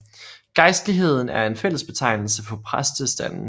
Gejstligheden er en fællesbetegnelse for præstestanden